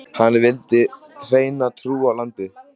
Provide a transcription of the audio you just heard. Hann vildi hreina trú í landið.